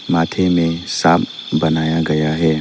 माथे में सांप बनाया गया है।